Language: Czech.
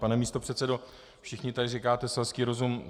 Pane místopředsedo, všichni tady říkáte selský rozum.